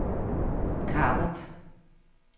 Karup